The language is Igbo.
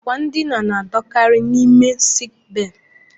Àkwà ndina na-anọkarị n'ime sik bee